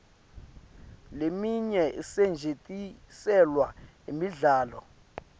leminye isetjentiselwa imidlalo